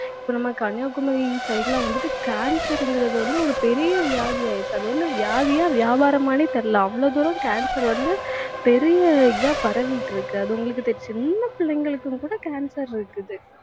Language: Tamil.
இப்ப நம்ம கன்னியாகுமரி side ல வந்துட்டு cancer ங்கிறது வந்து ஒரு பெரிய வியாதி ஆயிருச்சு அது வந்து வியாதியா வியாபாரமான்னே தெரியல அவ்வளவு தூரம் cancer வந்து பெரிய இதா பரவிட்டு இருக்கு. அது உங்களுக்கே தெரியும். சின்னப் பிள்ளைங்களுக்கும் கூட cancer இருக்குது